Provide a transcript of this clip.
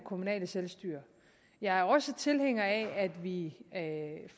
kommunale selvstyre jeg er også tilhænger af at vi